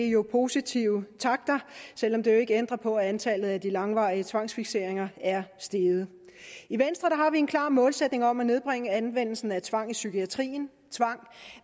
jo positive takter selv om det jo ikke ændrer på at antallet af langvarige tvangsfikseringer er steget i en klar målsætning om at nedbringe anvendelsen af tvang i psykiatrien